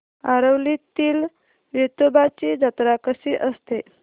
आरवलीतील वेतोबाची जत्रा कशी असते